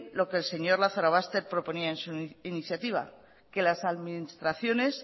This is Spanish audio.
lo que el señor lazarobaster proponía en su iniciativa que las administraciones